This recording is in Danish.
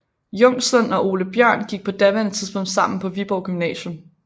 Jungslund og Ole Bjórn gik på daværende tidspunkt sammen på Viborg Gymnasium